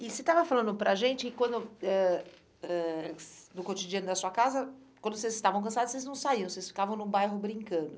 E você estava falando para a gente que quando ãh ãh no cotidiano da sua casa, quando vocês estavam cansados, vocês não saíam, vocês ficavam no bairro brincando.